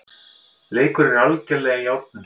Leikur er algerlega í járnum